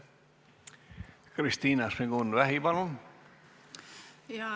Kristina Šmigun-Vähi, palun!